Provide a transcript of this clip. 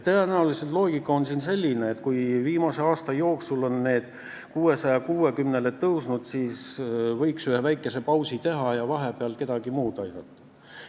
Tõenäoliselt on siin loogika selline, et kui viimase aasta jooksul on see toetus 660 eurole tõusnud, siis võiks väikese pausi teha ja vahepeal kedagi teist aidata.